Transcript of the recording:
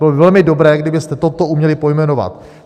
Bylo by velmi dobré, kdybyste toto uměli pojmenovat.